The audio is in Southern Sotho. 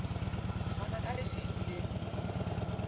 ho fana ka lesedi le